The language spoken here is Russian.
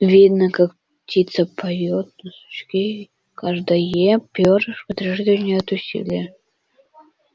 видно как птица поёт на сучке и каждое пёрышко дрожит у нее от усилия